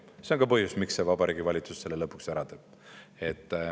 See on ka põhjus, miks Vabariigi Valitsus selle lõpuks ära teeb.